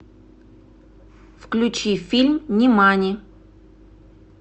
включи фильм нимани